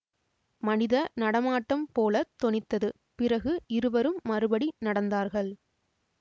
மனித நடமாட்டம் போல தொனித்தது பிறகு இருவரும் மறுபடி நடந்தார்கள்